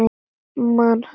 Man það ekki.